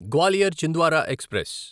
Gwalior Chhindwara express